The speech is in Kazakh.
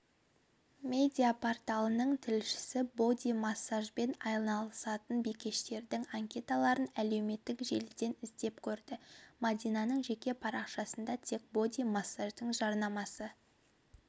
медиа-порталының тілшісі боди-массажбен айналысатын бикештердің анкеталарын әлеуметтік желіден іздеп көрді мадинаның жеке парақшасында тек боди-массаждың жарнамасы